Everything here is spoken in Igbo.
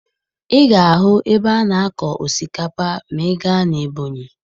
Ị ga-ahụ ebe a na-akọ osikapa ma ị gaa na Ebonyi